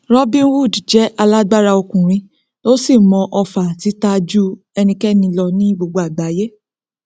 robin hood jẹ alágbára ọkùnrin ó sì mọ ọfà tita ju enikẹni lọ ní gbogbo àgbáiyé